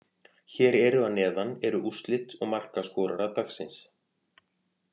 Hér eru að neðan eru úrslit og markaskorarar dagsins.